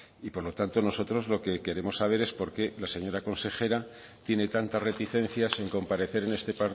y por lo tanto nosotros lo que queremos saber es por qué la señora consejera tiene tantas reticencias en comparecer en este